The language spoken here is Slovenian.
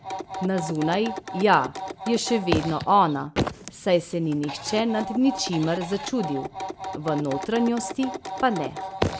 Na zunaj, ja, je še vedno ona, saj se ni nihče nad ničimer začudil, v notranjosti pa ne.